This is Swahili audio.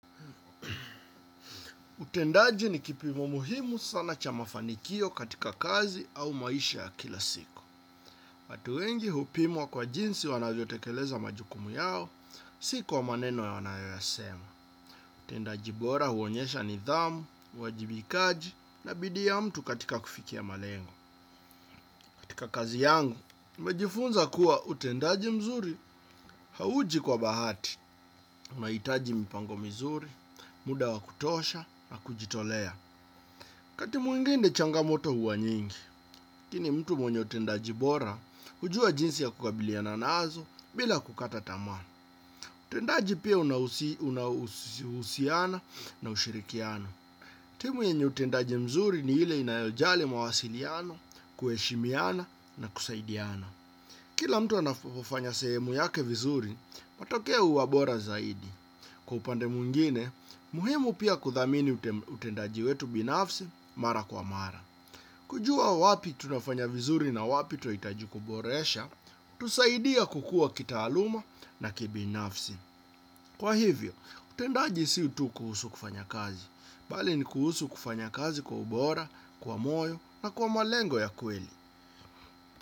Utendaji ni kipimo muhimu sana cha mafanikio katika kazi au maisha ya kila siku. Watu wengi hupimwa kwa jinsi wanavyo tekeleza majukumu yao. Si kwa maneno ya wanayoyasema. Utendaji bora huonyesha nidhamu, uwajibikaji na bidii ya mtu katika kufikia malengo. Katika kazi yangu, nimejifunza kuwa utendaji mzuri hauji kwa bahati. Unaitaji mipango mizuri, muda wa kutosha na kujitolea wakati mwingine changamoto huwa nyingi. Lakini mtu mwenye utendaji bora, hujua jinsi ya kukabiliana nazo bila kukata tamaa. Utendaji pia unahusiana na ushirikiano. Timu yenye utendaji mzuri ni ile inayojali mawasiliano, kueshimiana na kusaidiana. Kila mtu anafofanya sehemu yake vizuri, patokea uwabora zaidi. Kwa upande mwingine, muhimu pia kudhamini utendaji wetu binafsi mara kwa mara. Kujua wapi tunafanya vizuri na wapi twaitaji kuboresha, hutusaidia kukua kitaaluma na kibinafsi. Kwa hivyo, utendaji si tu kuhusu kufanya kazi, bali ni kuhusu kufanya kazi kwa ubora, kwa moyo na kwa malengo ya kweli.